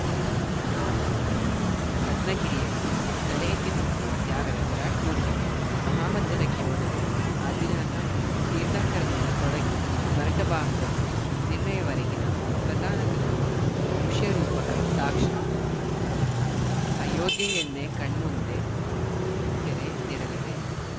ರತ್ನಗಿರಿಯಲ್ಲಿ ತಲೆಎತ್ತಿ ನಿಂತಿರುವ ತ್ಯಾಗದ ವಿರಾಟ್‌ ಮೂರ್ತಿಗೆ ಮಹಾಮಜ್ಜನಕ್ಕೆ ಮೊದಲು ಆದಿನಾಥ ತೀರ್ಥಂಕರನಿಂದ ತೊಡಿಗಿ ಭರತ ಬಾಹುಬಲಿ ನಿರ್ಣಯವರೆಗಿನ ಕಥಾನಕದ ದೃಶ್ಯರೂಪಕ ಸಾಕ್ಷಾತ್‌ ಅಯೋಧ್ಯೆಯನ್ನೇ ಕಣ್ಮುಂದೆ ತೆರೆದಿಡಲಿದೆ